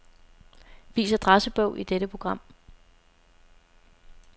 Vis adressebog i dette program.